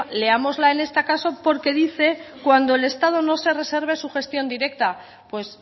leámosla en este caso porque dice cuando el estado no se reserve su gestión directa pues